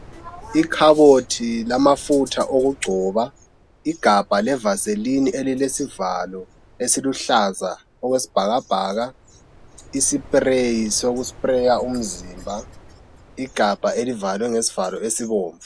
Ikhabothi lamafutha okugcoba, igabha le vaseline elilesivalo esiluhlaza okwesibhakabhaka i spray soku spray umzimba igabha elivalwe ngesivalo esibomvu.